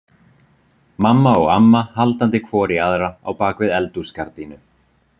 Mamma og amma haldandi hvor í aðra á bak við eldhúsgardínu.